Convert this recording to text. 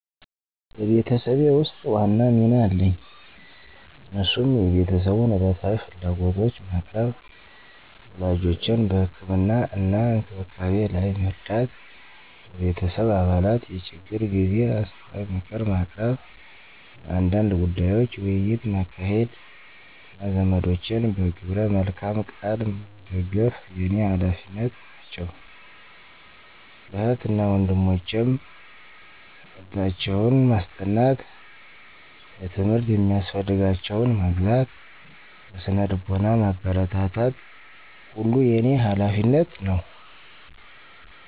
በቤተሰቤ ውስጥ ዋና ሚና አለኝ እነሱም የቤተሰቡን ዕለታዊ ፍላጎቶች ማቅረብ፣ ወላጆቼን በህክምና እና እንክብካቤ ላይ መርዳት፣ በቤተሰብ አባላት የችግር ጊዜ አስተዋይ ምክር ማቅረብ፣ ስለ አንዳንድ ጉዳዮች ውይይት ማካሄድ፣ እና ዘመዶቼን በግብረ መልካም ቃል መደግፍ የኔ ሀላፊነት ናቸው። ለእህት እና ወንድሞቸም ትምህርታቸውን ማስጠናት፣ ለትምህርት የሚያስፈልጋቸውን መግዛት፣ በስነ ልቦና ማበረታታት ሁሉ የኔ ሀላፊነት ነው።